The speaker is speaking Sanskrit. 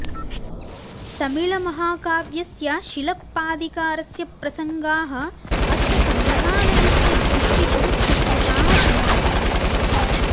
तमिऴ्महाकाव्यस्य शिलप्पदिकारस्य प्रसङ्गाः अस्य सङ्ग्रहालयस्य भित्तिषु चित्रिताः सन्ति